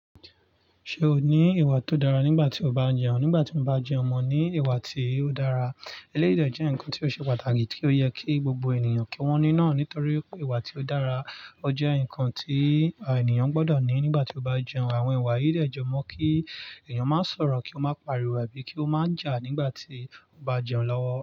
Ṣé o ní ìwà tó dára nígbà tí o bá jẹun? Nígbà tí mo bá jẹun, mo ní ìwà tí ó dára. Eléyii dè jẹ́ nǹkan tí ó ṣe pàtàkì kí ó yẹ kí gbogbo ènìyàn kí wọ́n ni náà nítorí ìwà tí ó dára. Ó jẹ́ nǹkan tí ènìyàn gbọ́dọ̀ ní nígbà tí ó bá jẹun. Àwọn ìwà yìí dẹ jẹ mọ kí ènìyàn máa sọ̀rọ̀, kí ó máa pariwo, àbí kí ó máa jà nígbà tí ó bá jẹun lọ́wọ́